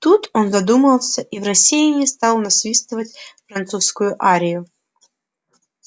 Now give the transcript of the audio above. тут он задумался и в рассеянии стал насвистывать французскую арию